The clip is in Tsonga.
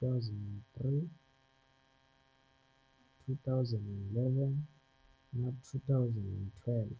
2003, 2011 na 2012.